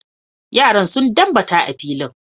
Yaran sun dambata a filin.